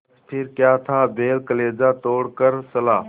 बस फिर क्या था बैल कलेजा तोड़ कर चला